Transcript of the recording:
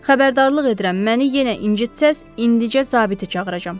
Xəbərdarlıq edirəm, məni yenə incitsəz, indicə zabiti çağıracam.